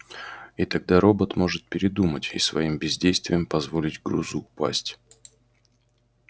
и тогда робот может передумать и своим бездействием позволить грузу упасть